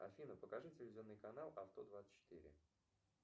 афина покажи телевизионный канал авто двадцать четыре